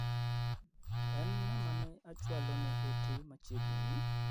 En ng'ama ne achwalo ne ote machiegni ni?